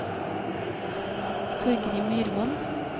Torgrim Myrvold